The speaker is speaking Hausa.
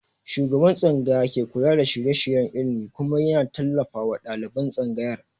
Shugaban tsangaya ke kula da shirye-shiryen ilimi kuma ya na tallafawa ɗaliban tsangayar